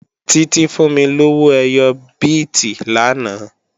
Títí fún mí lówó ẹyọ bíìtì lánàá